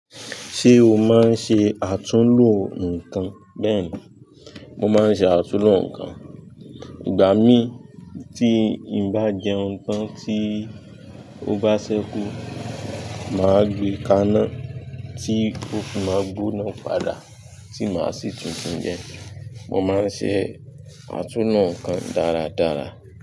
Ṣé o máa ń ṣe àtúnlo nǹkan? Bẹ́ẹ̀ni, mo máa ń ṣe àtúnlo nǹkan. Ìgbà mí tí n bá jẹun tán tí ó bá ṣẹ́kú, màá gbe kanna tí ó fi máa gbóná padà tí màá sì tun jẹ. Mo máa ń ṣe àtúnlo nǹkan dáradára.